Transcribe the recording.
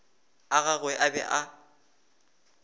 a gagwe a be a